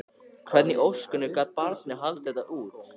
Hvernig í ósköpunum gat barnið haldið þetta út?